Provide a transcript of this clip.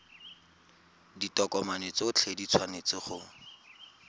ditokomane tsotlhe di tshwanetse go